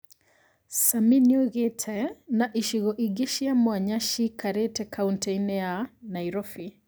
Same nĩoigĩte "Na icigo ingĩ cia mwanya ciĩikarĩtie kaũntĩ-inĩ ya Nairobi"